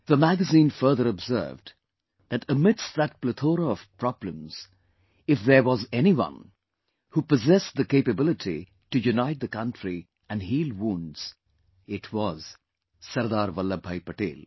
The magazine further observed that amidst that plethora of problems, if there was anyone who possessed the capability to unite the country and heal wounds, it was SardarVallabhbhai Patel